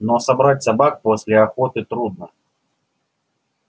но собрать собак после охоты трудно